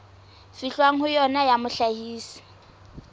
fihlwang ho yona ya mohlahisi